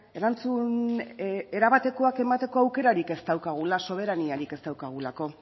erantzun erabatekoak emateko aukerarik ez daukagula soberaniarik ez daukagulako